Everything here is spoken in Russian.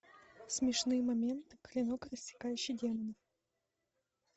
смешные моменты клинок рассекающий демонов